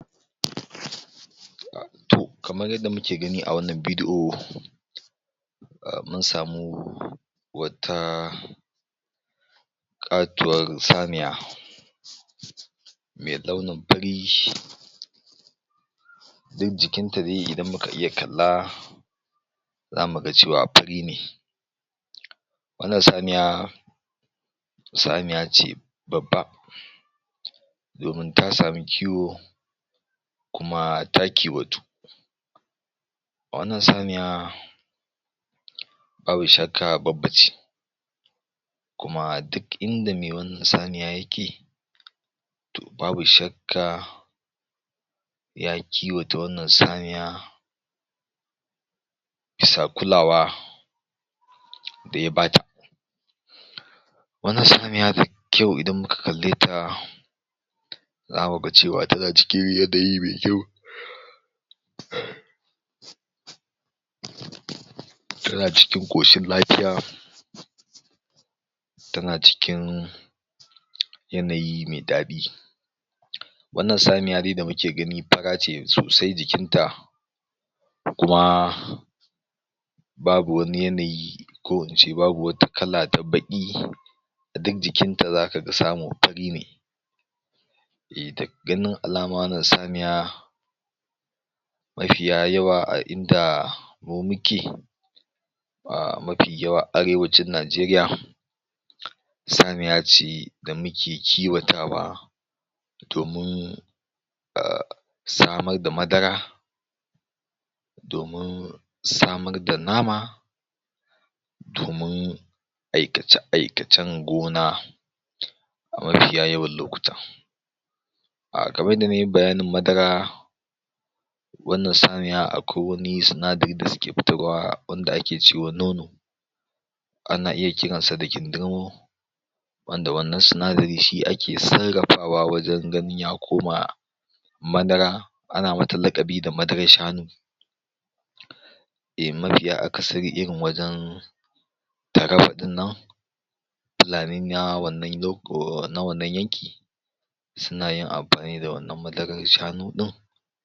to kamar yanda muke gani a wannan bidi'o mun samu wata ƙatuwar saniya me launin fari duk jikin ta dai idan muka iya kalla zamu ga cewa fari ne wannan saniya saniya ce babba domin ta samu kiwo kuma ta kiwatu wannan saniya babu shakka babba ce kuma duk inda me wannan saniya yake babu shakka ya kiwata wannan saniya bisa kulawa da ya bata wannan saniya kyau idan muka kalle ta zamu ga cewa tana cikin yanayi me kyau tana cikin ƙoshin lafiya tana cikin yanayi me daɗi wannan saniya dai da muke gani fara ce sosai jikin ta da kuma babu wani yanayi ko in ce babu wata kala ta baƙi duk jikin ta zaka samu fari ne eh daga ganin alama wannan saniya mafiya yawa a inda mu muke ahh mafi yawa arewacin Najeriya saniya ce da muke kiwatawa domin samar da madara domin samar da nama domin aikace-aikacen gona a mafiya yawan lokuta ahh kamar yanda nayi bayanin madara wannan saniya akwai wani sinadari da suke fitarwa wanda ake ce wa nono ana iya kiran sa da kindirmo wanda wannan sinadari shi ake sarrafawa wajen ganin ya koma madara ana mata laƙabi da madarar shanu mafiya akasari irin wajen Taraba ɗin nan fulani na wannan yanki suna yin abu ne da wannan madarar shanu ɗin